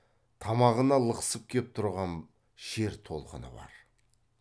тамағына лықсып кеп тұрған шер толқыны бар